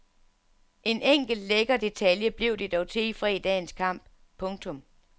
En enkelt lækker detalje blev det dog til i fredagens kamp. punktum